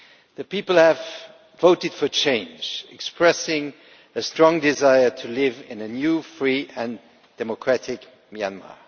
The people have voted for change, expressing a strong desire to live in a new, free and democratic Myanmar.